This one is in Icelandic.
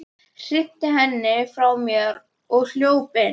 Hrinti henni frá mér og hljóp inn.